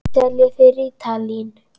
Seljið þið rítalín?